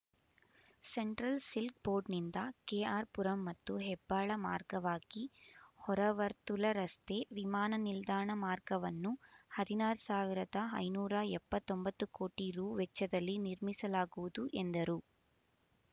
central silk ಬೋರ್ಡ್‌ನಿಂದ KR Puram ಮತ್ತು ಹೆಬ್ಬಾಳ ಮಾರ್ಗವಾಗಿ ಹೊರವರ್ತುಲ ರಸ್ತೆ ವಿಮಾನ ನಿಲ್ದಾಣ ಮಾರ್ಗವನ್ನು ಹದಿನಾರ್ ಸಾವಿರದ ಐನೂರ ಎಪ್ಪತ್ತೊಂಬತ್ತು ಕೋಟಿ ರೂ ವೆಚ್ಚದಲ್ಲಿ ನಿರ್ಮಿಸಲಾಗುವುದು ಎಂದರು